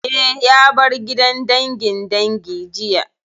Eh, ya bar gidan dangin dangi jiya